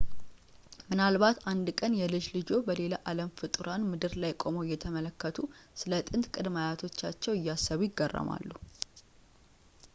ምናልባት አንድ ቀን የልጅ ልጆችዎ በሌላ አለም ፍጡራን ምድር ላይ ቆመው እየተመለከቱ ስለ ጥንት ቅድመ-አያቶቻቸው እያሰቡ ይገረማሉ